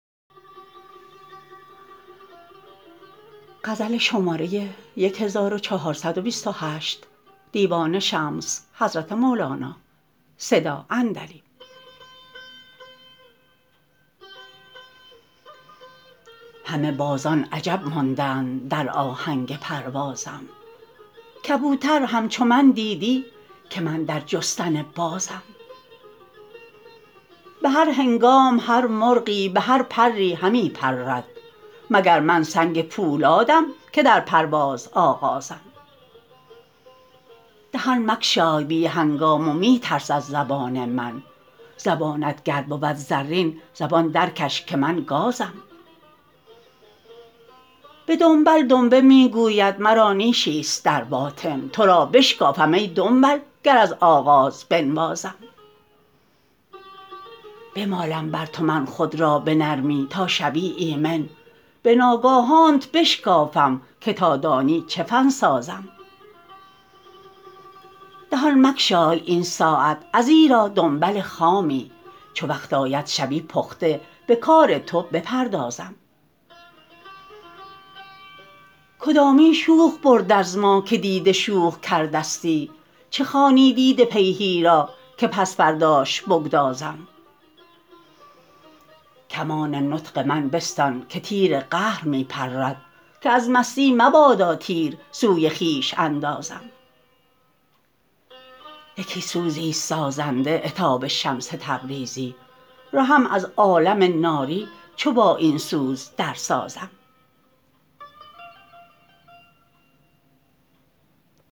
همه بازان عجب ماندند در آهنگ پروازم کبوتر همچو من دیدی که من در جستن بازم به هر هنگام هر مرغی به هر پری همی پرد مگر من سنگ پولادم که در پرواز آغازم دهان مگشای بی هنگام و می ترس از زبان من زبانت گر بود زرین زبان درکش که من گازم به دنبل دنبه می گوید مرا نیشی است در باطن تو را بشکافم ای دنبل گر از آغاز بنوازم بمالم بر تو من خود را به نرمی تا شوی ایمن به ناگاهانت بشکافم که تا دانی چه فن سازم دهان مگشای این ساعت ازیرا دنبل خامی چو وقت آید شوی پخته به کار تو بپردازم کدامین شوخ برد از ما که دیده شوخ کردستی چه خوانی دیده پیهی را که پس فرداش بگدازم کمان نطق من بستان که تیر قهر می پرد که از مستی مبادا تیر سوی خویش اندازم یکی سوزی است سازنده عتاب شمس تبریزی رهم از عالم ناری چو با این سوز درسازم